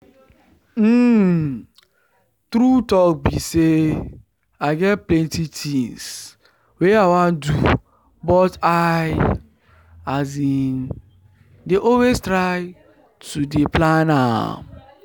um true talk be say i get plenty things wey i wan do but i um dey always try to dey plan am